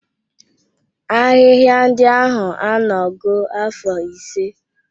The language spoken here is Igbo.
Ahịhịa ndị ahụ anọgo afọ ise.